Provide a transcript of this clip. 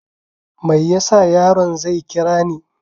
Meyasa yaron zai kirani ni?